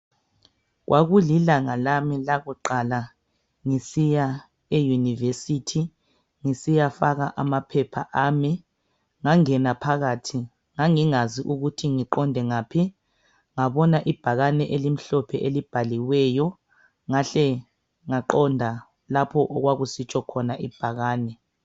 Kwakulilanga lami lakuqala ngisiya eyunivesithi ngisiyafaka amaphepha ami, ngangena phakathi. Ngangingazi ukuthi ngiqonde ngaphi. Ngabona ibhakane elimhlophe elibhaliweyo, ngahle ngaqonda lapho okwakusitsho khona ibhakane.